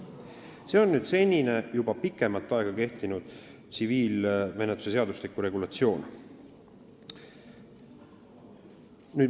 See on juba pikemat aega kehtinud tsiviilkohtumenetluse seadustiku regulatsioon.